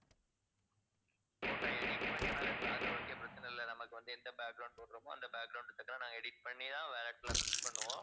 photo edit பண்ணி wallet ல அது okay பிரச்சனை இல்லை. நமக்கு வந்து எந்த போடுறோமோ அந்த நாங்க edit பண்ணிதான் wallet ல fix பண்ணுவோம்